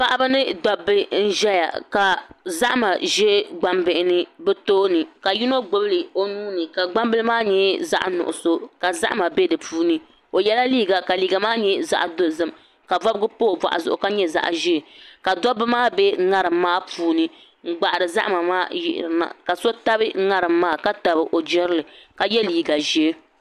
Paɣaba ni dabba n ʒɛya ka zahama ʒɛ gbambihi ni bi tooni ka yino gbubili o nuuni ka gbambili maa nyɛ zaɣ nuɣso ka zahama bɛ di puuni o yɛla liiga ka liiga maa nyɛ zaɣ dozim ka bobgi pa o boɣu zuɣu ka nyɛ zaɣ ʒiɛ ka dabba maa bɛ ŋarim maa puuni n gbahari zahama maa yirina ka so tabi ŋarim maa ka tabi o jirili kayɛ liiga ʒiɛ